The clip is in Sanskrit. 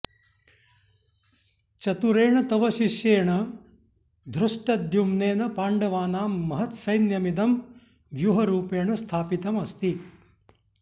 चतुरेण तव शिष्येण धृष्टद्युम्नेन पाण्डवानां महत् सैन्यमिदम् व्यूहरूपेण स्थापितम् अस्ति